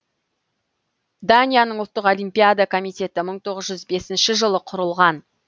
данияның ұлттық олимпиада комитететі мың тоғыз жүз бесінші жылы құрылған